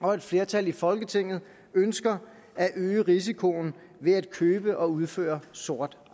og at et flertal i folketinget ønsker at øge risikoen ved at købe og udføre sort